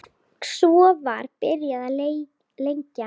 Svo var byrjað að leggja.